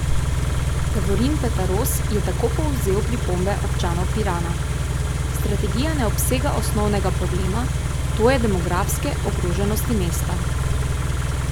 Davorin Petaros je tako povzel pripombe občanov Pirana: "Strategija ne obsega osnovnega problema, to je demografske ogroženosti mesta.